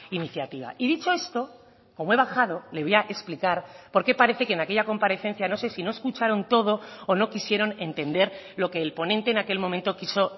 iniciativa y dicho esto como he bajado le voy a explicar porque parece que en aquella comparecencia no se si no escucharon todo o no quisieron entender lo que el ponente en aquel momento quiso